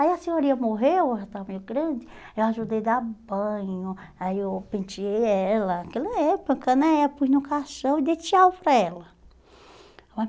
Aí a senhorinha morreu, ela estava meio grande, eu ajudei a dar banho, aí eu penteei ela, aquela época né, pus no caixão e dei tchau para ela.